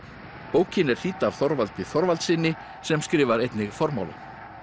bókin er þýdd af Þorvaldi Þorvaldssyni sem skrifar einnig formálann